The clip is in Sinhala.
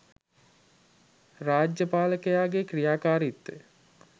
රාජ්‍ය පාලකයාගේ ක්‍රියාකාරිත්වය